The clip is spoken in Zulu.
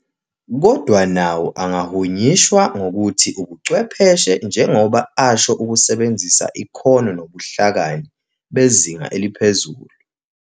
Kodwa nawo angahunyishwa ngokuthi Ubuchwepheshe njengoba asho ukusebenzisa ikhono nobuhlakani bezinga eliphezulu.